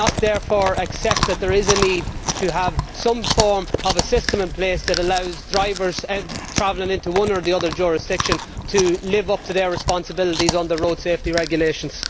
Do you not, therefore, accept that there is a need to have some form of a system in place that allows drivers travelling into one or the other jurisdiction to live up to their responsibilities under road safety regulations?